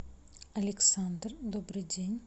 александр добрый день